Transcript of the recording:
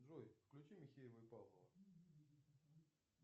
джой включи михеева и павлова